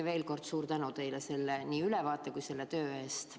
Veel kord suur tänu teile nii selle ülevaate kui ka tehtud töö eest!